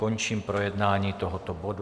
Končím projednání tohoto bodu.